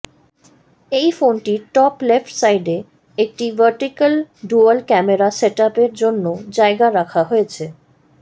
এই ফোনটির top left সাইডে একটি ভার্টিকাল ডুয়াল ক্যামেরা সেটআপের জন্য জায়গা রাখা হয়েছে